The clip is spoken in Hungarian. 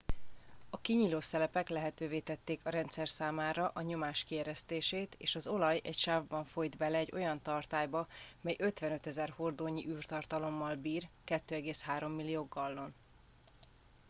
a kinyíló szelepek lehetővé tették a rendszer számára a nyomás kieresztését és az olaj egy sávban folyt bele egy olyan tartályba mely 55 000 hordónyi űrtartalommal bír 2,3 millió gallon